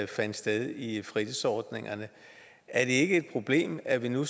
fandt sted i fritidsordningerne er det ikke et problem at vi nu